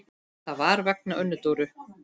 Það var vegna Önnu Dóru.